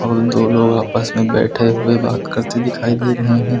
और दो लोग आपस में बैठे हुए बात करते दिखाई दे रहे हैं।